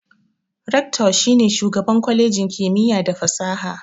Reactor shi ne shugaban kwalejin kimiyya da fasaha.